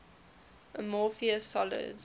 amorphous solids